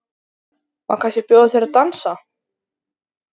Má kannski bjóða þér að dansa?